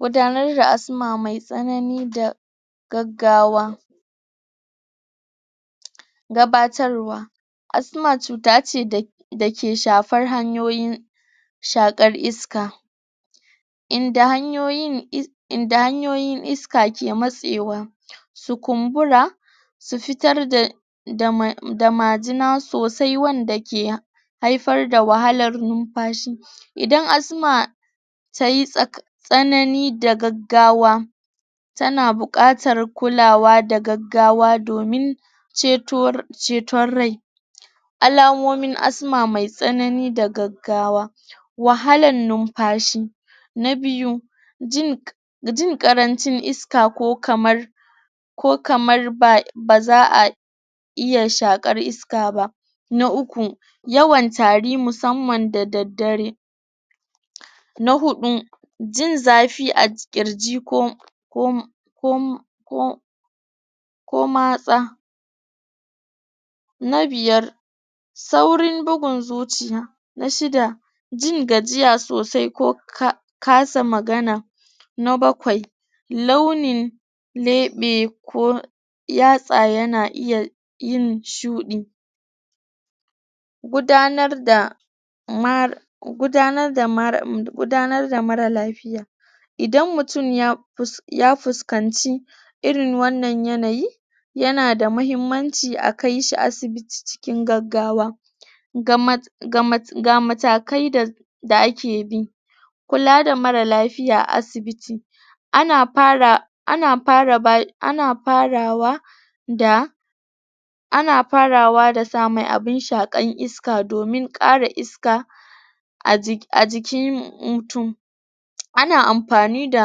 gudanar da asma me tsanani da gaggawa gabatarwa asm acuta ce da dake shafar hanyoyi shakar iska inda hanyoyin inda hanyoyin iska ke matsewa su kumbura su fitar da da mar majina sosai wanda ke hiafar da wahalan numfashi idan asma tayi tsaka tsanani da gaggawa tana bukatar kulawa da gaggawa domin ceto ceton rai alamomin asma me tsanani da gaggawa wahalan numfashi na biyu jin k jin karancin iska ko kamar ko kamar ba bazaa iya shakar iska ba na uku yawan tari musamman da daddare na hudu jin zafi a kirji ko ko ko ko ko matsa na biyar saurin bugun zuciya na shida jin gajiya sosai ko ka kasa magana na bakwai launin lebe ko yatsa yana iya yin shudi gudanar da mara gunadar da mar gudanar da mara lafiya idan mutum ya ya fuskanci irin wannan yanayi yana da mahimmanci akaishi asibiti cikin gaggawa ga ma ga mata ga matkai da da aek bi kula da mara lafiya a asibiti ana fara ana fara ba ana fara wa da ana farawa da sa mai abun sha kan iska domin kara iska ajiki a jikin mutum ana amfani da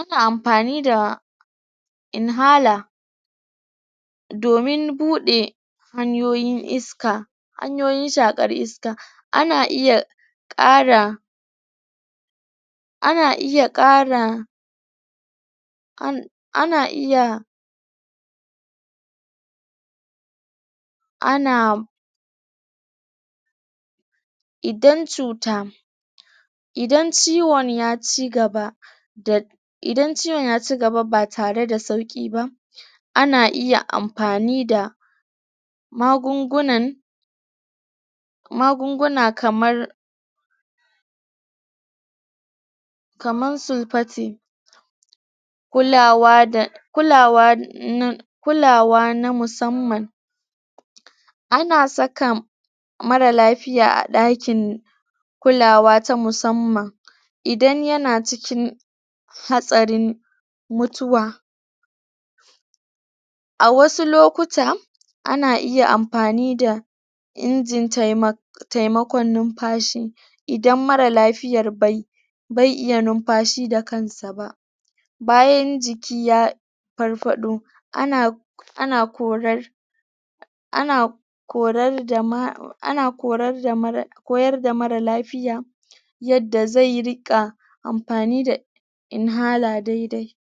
ana amfani da inhaler domin bude hanyoyin iska hanyoyin shakar iska ana iya kara ana iya kara ana ana iya anaa idan cuta idan ciwon ya chigaba da idan ciwon ya chigaba ba tare da sauki ba ana iya amfani da magungunan magunguna kamar kamar sulphati kulawa da kulawa nan kulawa na musamman ana saka mara lafiya a dakin kulawa ta musamman idan yana cikin hatsarin mututwa a wasu lokuta ana iya amfani da inji taimak taimakon numfashi idan mara lafiyar bai bai iya numfashi da kansa ba bayan jiki ya ya farfado ana ana korar ana korar da ma ana korar da mara koyar da mara lafiya yadda zai rika amfani da inhaler daidai